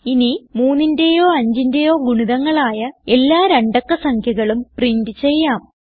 ഇനി 3ന്റേയോ 5ന്റേയോ ഗുണിതങ്ങളായ എല്ലാ രണ്ടക്ക സംഖ്യകളും പ്രിന്റ് ചെയ്യാം